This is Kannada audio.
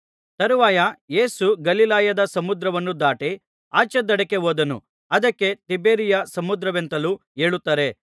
ತರುವಾಯ ಯೇಸು ಗಲಿಲಾಯದ ಸಮುದ್ರವನ್ನು ದಾಟಿ ಆಚೆ ದಡಕ್ಕೆ ಹೋದನು ಅದಕ್ಕೆ ತಿಬೇರಿಯ ಸಮುದ್ರವೆಂತಲೂ ಹೇಳುತ್ತಾರೆ